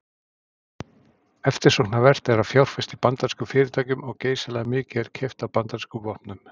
Eftirsóknarvert er að fjárfesta í bandarískum fyrirtækjum og geysilega mikið er keypt af bandarískum vopnum.